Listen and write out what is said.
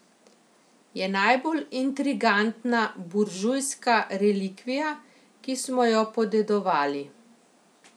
Je najbolj intrigantna buržujska relikvija, ki smo jo podedovali.